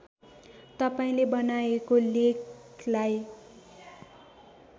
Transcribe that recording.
तपाईँले बनाएको लेखलाई